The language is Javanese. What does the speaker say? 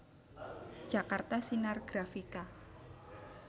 Jakarta Sinar Grafika